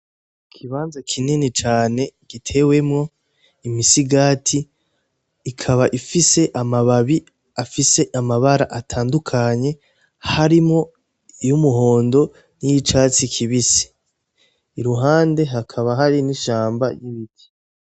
Ikibanza kinini cane gitewemwo imisigati ikaba ifise amababi afise amabara atandukanye harimwo iyo umuhondo n'iyo icatsi kibise iruhande hakaba hari n'ishamba y'ibiti.